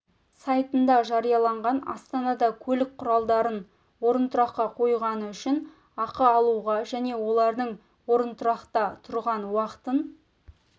сайтында жарияланған астанада көлік құралдарын орынтұраққа қойғаны үшін ақы алуға және олардың орынтұрақта тұрған уақытын